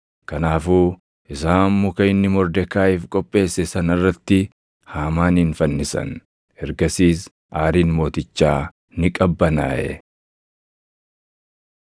Kanaafuu isaan muka inni Mordekaayiif qopheesse sana irratti Haamaanin fannisan. Ergasiis aariin mootichaa ni qabbanaaʼe.